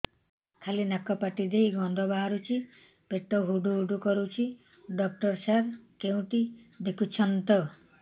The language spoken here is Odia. ଖାଲି ନାକ ପାଟି ଦେଇ ଗଂଧ ବାହାରୁଛି ପେଟ ହୁଡ଼ୁ ହୁଡ଼ୁ କରୁଛି ଡକ୍ଟର ସାର କେଉଁଠି ଦେଖୁଛନ୍ତ